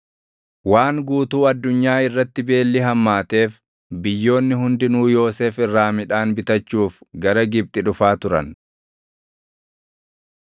Waan guutuu addunyaa irratti beelli hammaateef biyyoonni hundinuu Yoosef irraa midhaan bitachuuf gara Gibxi dhufaa turan.